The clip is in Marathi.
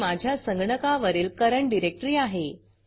ही माझ्या संगणकावरील currentकरेंट डिरेक्टरी आहे